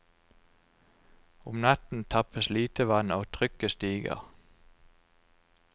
Om natten tappes lite vann, og trykket stiger.